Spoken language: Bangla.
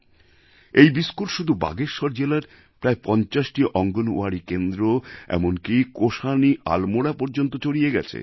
এই বিস্কুট শুধু বাগেশ্বর জেলার প্রায় ৫০টি অঙ্গণওয়াড়ি কেন্দ্র এমনকি কোসানি আলমোড়া পর্যন্ত ছড়িয়ে গেছে